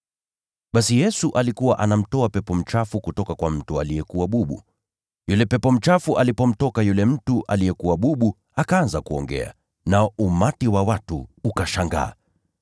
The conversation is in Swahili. Basi Yesu alikuwa anamtoa pepo mchafu kutoka kwa mtu aliyekuwa bubu. Yule pepo mchafu alipomtoka yule mtu aliyekuwa bubu, akaanza kuongea, nao umati wa watu ukashangaa.